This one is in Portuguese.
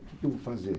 O que que eu vou fazer?